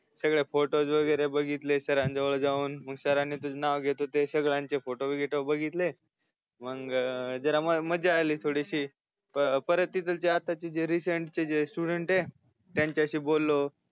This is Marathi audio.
सगळे फोटोज वगेरे बघितले सरांजवळ जाऊन मग सरांनी तुज नाव घेत होते सगळ्यांचे फोटो कितो बघीतले मग जरा मजा आली थोडीसी प परत तिथलचे आताचे रेसेन्ट स्टुडन्ट आहे त्यांच्याशी बोललो